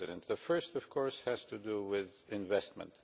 The first, of course, has to do with investment.